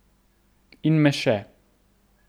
In me še.